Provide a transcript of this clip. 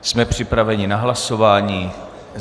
Jsme připraveni na hlasování?